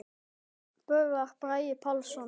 Nafn: Böðvar Bragi Pálsson